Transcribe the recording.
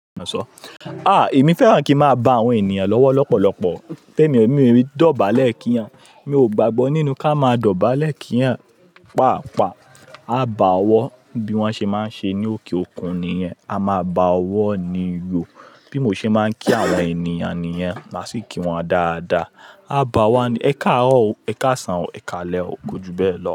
Ah! Èmi fẹ́ràn kí n máa bá àwọn ènìyàn lówó lọ́pọ̀lọpọ̀, pé mi ò ní dọ̀bálẹ̀ kí wọn, mi ò gbàgbọ́ nínú ká má dọ̀bálẹ̀ kí wọn, pàápàá, a bá owọ̀ bí wọ́n ṣe máa ń ṣe ní òkè òkun nìyẹn, a máa bá owọ̀ nìyò, bí mo ṣe máa ń kí àwọn ènìyàn nìyẹn, màá sì kí wọn dáadáa. A báwọ̀ ni, ẹkáarọ o, ẹ ká sàn o, ẹ ká lẹ́ ò, kú ju bẹ́ẹ̀ lọ.